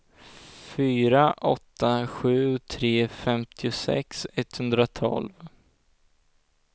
fyra åtta sju tre femtiosex etthundratolv